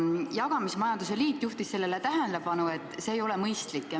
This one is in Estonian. Jagamismajanduse liit juhtis tähelepanu asjaolule, et see ei ole mõistlik.